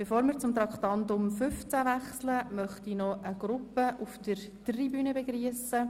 Bevor wir zu Traktandum 15 übergehen, möchte ich noch eine Gruppe auf der Tribüne begrüssen.